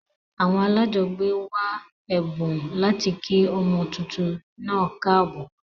Àwon alájogbé wa èbùn láti kí ọmọ tuntun naa káàbò